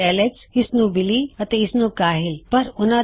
ਨਿਸ਼ਚਿਤ ਰੂਪ ਵਿੱਚ ਉਹ ਸੇਮ ਹੀ ਹੈ ਲਿਖਣ ਵਿੱਚ